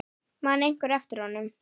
Man einhver eftir honum?